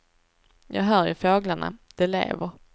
Jag hör ju fåglarna, de lever.